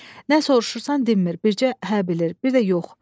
Nə soruşursan dinmir, bircə “hə” bilir, bir də “yox”.